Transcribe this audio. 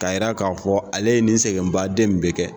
K'a jira k'a fɔ ale ye nin sɛgɛnbaaden nin bɛɛ kɛ